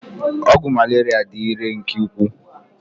Ọgwụ Malaria dị irè nke ukwuu